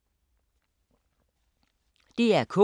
DR K